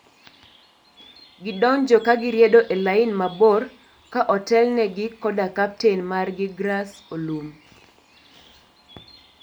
Gidonjo ka gi riedo e lain mabor ka otel ne gi koda kaptain mar gi Grass Olum.